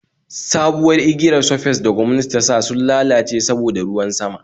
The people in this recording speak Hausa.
sabuwar igiyar surface da gwamnati tasa sun lalace saboda ruwan sama